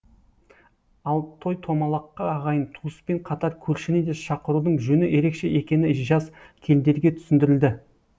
ал той томалаққа ағайын туыспен қатар көршіні де шақырудың жөні ерекше екені жас келіндерге түсіндірілді